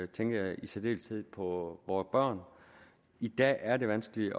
tænker jeg i særdeleshed på vore børn i dag er det vanskeligt